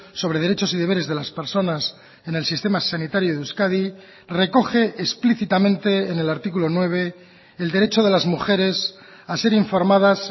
sobre derechos y deberes de las personas en el sistema sanitario de euskadi recoge explícitamente en el artículo nueve el derecho de las mujeres a ser informadas